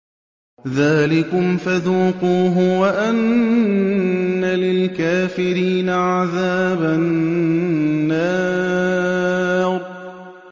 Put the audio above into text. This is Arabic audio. ذَٰلِكُمْ فَذُوقُوهُ وَأَنَّ لِلْكَافِرِينَ عَذَابَ النَّارِ